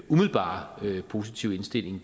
umiddelbart positive indstilling